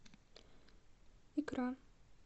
икра